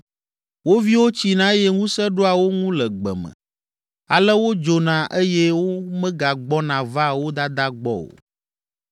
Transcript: Wo viwo tsina eye ŋusẽ ɖoa wo ŋu le gbe me, ale wodzona eye womegagbɔna vaa wo dadaa gbɔ o.